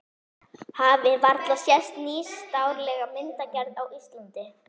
Hafi varla sést nýstárlegri myndgerð á Íslandi.